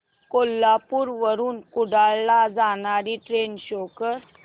कोल्हापूर वरून कुडाळ ला जाणारी ट्रेन शो कर